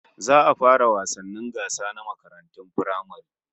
Za a fara wasannin gasa na makarantun firamare